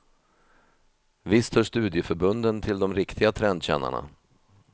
Visst hör studieförbunden till de riktiga trendkännarna.